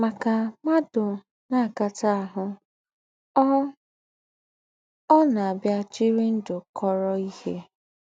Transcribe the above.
Mà kà m̀ádụ́ ná-àkatà áhụ̀, ọ́ ọ́ ná-àbíà jìrì ndụ́ kọ̀rọ̀ íhe.